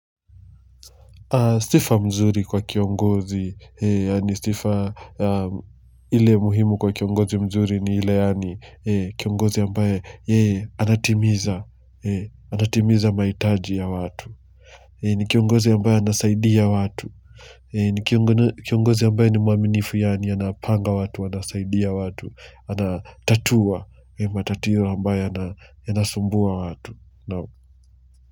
Sifa mzuri kwa kiongozi, ni sifa ile muhimu kwa kiongozi mzuri ni ile yaani kiongozi ambaye yeye anatimiza, anatimiza mahitaji ya watu ni kiongozi ambaye anasaidia watu ni kiongozi ambaye ni mwaminifu yaani anapanga watu, anasaidia watu, anatatua, matatio ambayo yanasumbua watu.